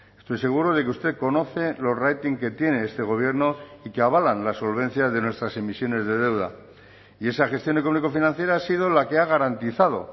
estoy seguro de que usted conoce los rating que tiene este gobierno y que avalan la solvencia de nuestras emisiones de deuda y esa gestión económico financiera ha sido la que ha garantizado